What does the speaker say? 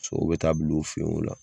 Sow bɛ taa bil'o fɛ yen nɔ.